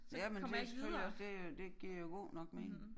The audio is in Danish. Jamen det selvfølgelig også det øh det giver jo god nok mening